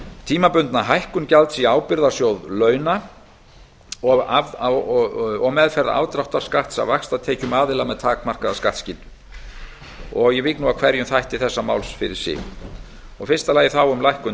tímabundna hækkun gjalds í ábyrgðasjóð launa og meðferð afdráttarskatts af vaxtatekjum aðila með takmarkaða skattskyldu ég vík nú að hverjum þætti þessa máls fyrir sig í fyrsta lagi um lækkun